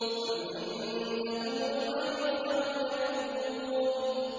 أَمْ عِندَهُمُ الْغَيْبُ فَهُمْ يَكْتُبُونَ